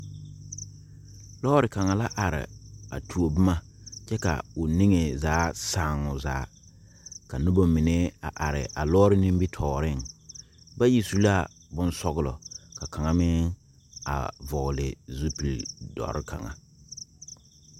Loɔri kanga la arẽ a tuo buma kye ka ɔ ninge zaa saa ɔ zaa ka nuba mene arẽ a loɔri nimitoɔring bayi su la bunsɔglɔ ka kanga meng vɔgli zupile dɔri kanga.